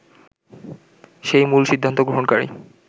সে-ই মূল সিদ্ধান্ত গ্রহণকারী